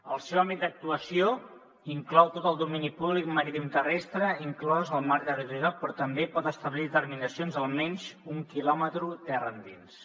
el seu àmbit d’actuació inclou tot el domini públic maritimoterrestre inclòs el mar territorial però també pot establir determinacions almenys un quilòmetre terra endins